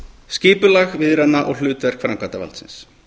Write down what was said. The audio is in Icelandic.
skipulag viðræðna og hlutverk framkvæmdarvaldsins